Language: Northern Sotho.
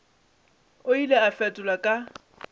o ile a fetola ka